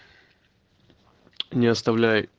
не оставляй